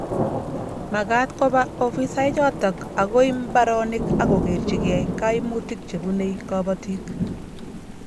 Magat koba afisaechoto agoi mbaronik agokerchikei koimutik chebunei kobotik